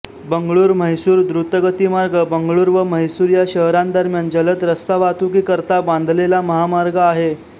बंगळूरम्हैसूर द्रुतगतीमार्ग बंगळूर व म्हैसूर या शहरांदरम्यान जलद रस्तावाहतुकी करता बांधलेला महामार्ग आहे